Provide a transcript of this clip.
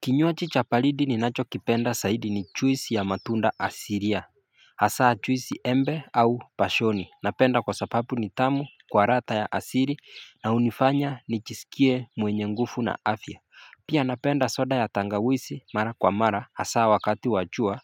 Kinywaji cha baridi ni nacho kipenda saidi ni chuisi ya matunda asiria Hasaa chuisi embe au bashoni napenda kwa sapapu nitamu kwa ratha ya asiri na unifanya nijisikie mwenye nguvu na afya Pia napenda soda ya tangawisi mara kwa mara hasaa wakati wachua